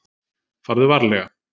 Farðu varlega.